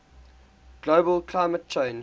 global climate change